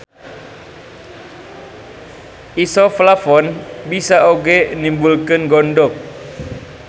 Isoflavon bisa oge nimbulkeun gondok.